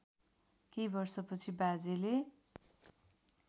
केही वर्षपछि बाजेले